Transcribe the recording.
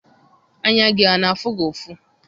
Anya gị a na-afụ gị ụfụ?